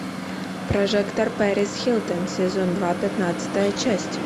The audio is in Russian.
прожектор перис хилтон сезон два пятнадцатая часть